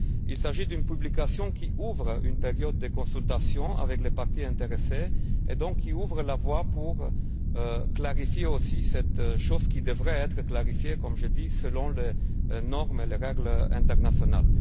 Il s'agit d'une publication qui ouvre une période de consultation avec les parties intéressées et, donc, qui ouvre la voie pour clarifier aussi cette chose qui devrait également l'être, comme je l'ai dit, selon les normes et règles internationales.